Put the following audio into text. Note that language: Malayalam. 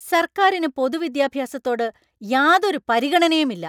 സർക്കാരിന് പൊതുവിദ്യാഭ്യാസത്തോട് യാതൊരു പരിഗണനയും ഇല്ല.